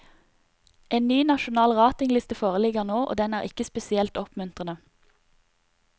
En ny nasjonal ratingliste foreligger nå, og den er ikke spesielt oppmuntrende.